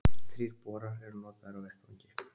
Þrír borar eru notaðir á vettvangi